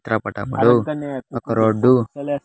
చిత్ర పటం లో ఒక రోడ్ .